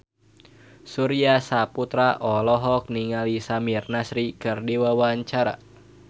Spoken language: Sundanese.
Surya Saputra olohok ningali Samir Nasri keur diwawancara